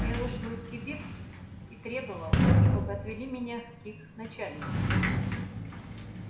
я вышел из кибитки и требовал чтобы отвели меня к их начальнику